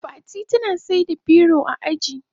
Fati tana saida biko a aji.